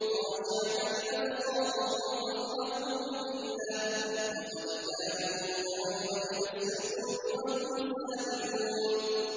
خَاشِعَةً أَبْصَارُهُمْ تَرْهَقُهُمْ ذِلَّةٌ ۖ وَقَدْ كَانُوا يُدْعَوْنَ إِلَى السُّجُودِ وَهُمْ سَالِمُونَ